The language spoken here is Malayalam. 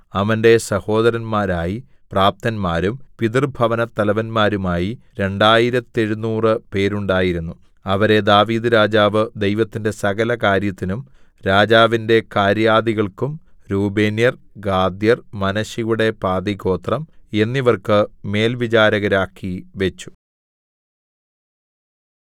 അവന്റെ സഹോദരന്മാരായി പ്രാപ്തന്മാരും പിതൃഭവനത്തലവന്മാരുമായി രണ്ടായിരത്തെഴുനൂറ് പേരുണ്ടായിരുന്നു അവരെ ദാവീദ്‌ രാജാവ് ദൈവത്തിന്റെ സകല കാര്യത്തിനും രാജാവിന്റെ കാര്യാദികൾക്കും രൂബേന്യർ ഗാദ്യർ മനശ്ശെയുടെ പാതിഗോത്രം എന്നിവർക്ക് മേൽവിചാരകരാക്കി വെച്ചു